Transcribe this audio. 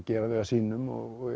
gera þau að sínum og